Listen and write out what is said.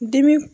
Dimi